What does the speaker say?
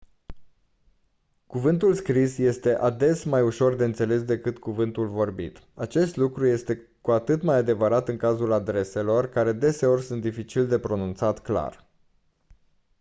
cuvântul scris este ades mai ușor de înțeles decât cuvântul vorbit acest lucru este cu atât mai adevărat în cazul adreselor care deseori sunt dificil de pronunțat clar